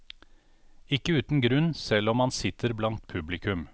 Ikke uten grunn, selv om han sitter blant publikum.